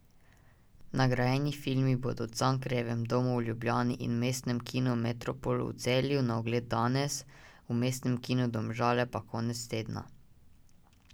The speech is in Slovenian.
Nagrajeni filmi bodo v Cankarjevem domu v Ljubljani in Mestnem kinu Metropol v Celju na ogled danes, v Mestnem kinu Domžale pa konec tedna.